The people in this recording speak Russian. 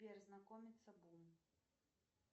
сбер знакомится гум